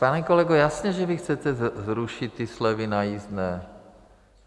Pane kolego, jasně že vy chcete zrušit ty slevy na jízdné.